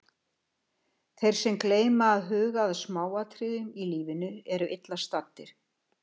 Þeir sem gleyma að huga að smáatriðunum í lífinu, eru illa staddir.